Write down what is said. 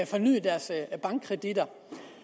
fornyet deres bankkreditter